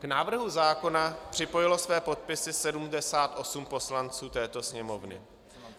K návrhu zákona připojilo své podpisy 78 poslanců této Sněmovny.